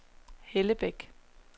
Hellebæk